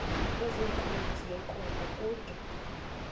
nezenkunzi yenkomo kude